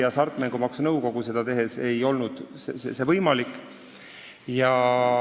Hasartmängumaksu Nõukogu kaudu ei olnud võimalik seda teha.